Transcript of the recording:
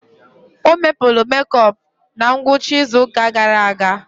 O mebulu mekop na ngwụcha izuụka gara aga.